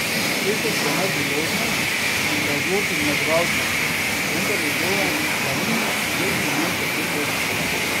Efes je imel priložnost, da odloči zmagovalca, vendar je Zoran Planinić zgrešil met za dve točki.